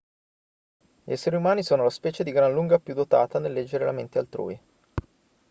gli esseri umani sono la specie di gran lunga più dotata nel leggere la mente altrui